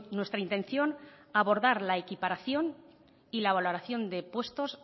nuestra intención abordar la equiparación y la valoración de puestos